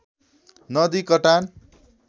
नदी कटान